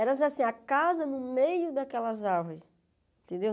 Era assim, a casa no meio daquelas árvores, entendeu?